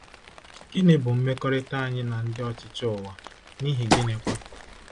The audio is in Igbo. Gịnị bụ mmekọrịta anyị na ndị ọchịchị ụwa, n’ihi gịnịkwa?